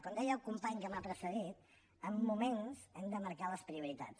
com deia el company que m’ha precedit en moments hem de marcar les prioritats